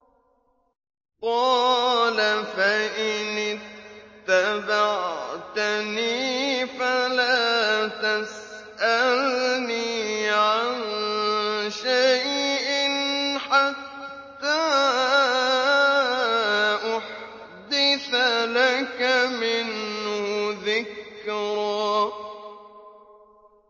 قَالَ فَإِنِ اتَّبَعْتَنِي فَلَا تَسْأَلْنِي عَن شَيْءٍ حَتَّىٰ أُحْدِثَ لَكَ مِنْهُ ذِكْرًا